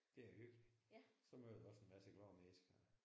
Det er hyggeligt. Så møder du også en masse glade mennesker